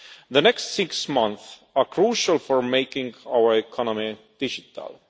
The next six months are crucial for making our economy digital.